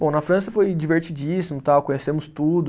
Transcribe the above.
Bom, na França foi divertidíssimo tal, conhecemos tudo.